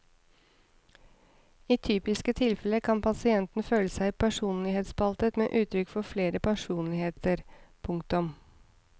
I typiske tilfeller kan pasienten føle seg personlighetsspaltet med uttrykk for flere personligheter. punktum